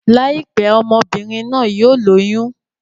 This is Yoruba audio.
Láìpẹ́, ọmọ-bìnrin náà yóò lóyún.